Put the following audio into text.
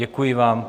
Děkuji vám.